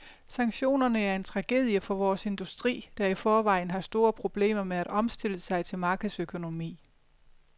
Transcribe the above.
Sanktionerne er en tragedie for vores industri, der i forvejen har store problemer med at omstille sig til markedsøkonomi.